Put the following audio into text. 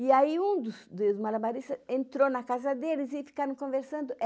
E aí um dos do malabaristas entrou na casa deles e ficaram conversando.